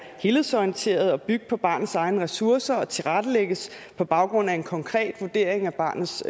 helhedsorienteret og bygge på barnets egne ressourcer og tilrettelægges på baggrund af en konkret vurdering af barnets